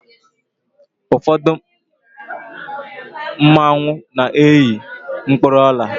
ụfọdụ mmanwu na-eyi mkpụrụ Ọla